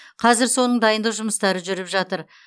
қазір соның дайындық жұмыстары жүріп жатыр